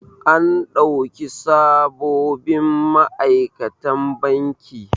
An ɗauki sabobin ma'aikatan banki.